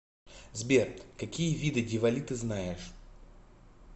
сбер какие виды дивали ты знаешь